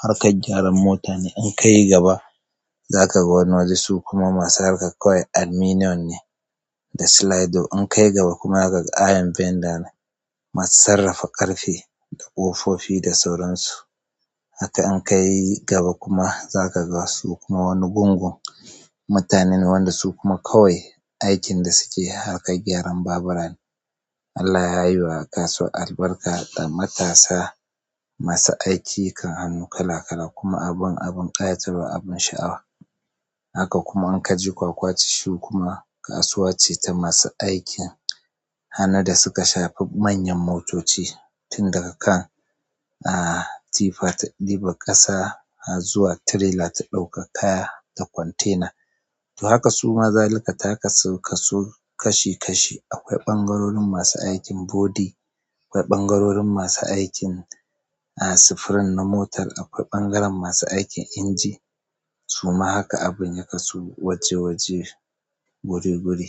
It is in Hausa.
harkar gyaran mota ne, in ka yi gaba za ka ga wani waje kuma masu harkar kawai aluminum ne da slide. In ka yi gaba kuma za ka ga iron bender ne masu sarrafa ƙarfe da ƙofofi da sauran su. Haka in ka yi gaba kuma za ka ga su kuma wani gungun mutane ne wanda su kuma kawai aikin da suke harkar gyaran babura ne. Allah ya yi wa kasuwar albarka da matasa masu aiki kan hannu kala kala kuma abin, abin ƙayatarwa abin sha'awa. Haka kuma in ka je Kwakwaci shi kuma kasuwa ce ta masu aikin hannu da suka shafi manyan motoci tun daga kan, ah, tifa ta ɗiba ƙasa zuwa tirela ta ɗaukar kaya da kwantena. To haka su ma zalika ta kasu kasu kashi kashi. Akwai ɓangarorin masu aikin body, akwai ɓangarorin masu aikin, ah, sufurin na motar, akwai ɓangaren masu aikin inji. Suma haka abin ya kasu waje waje guri guri.